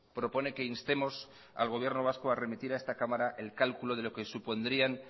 propone que instemos al gobierno vasco a remitir a esta cámara el cálculo de lo que supondrían